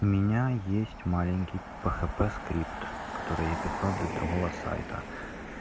у меня есть маленький пхп скрипт который я писал для другого сайта